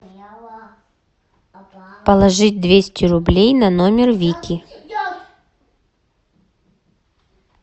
положить двести рублей на номер вики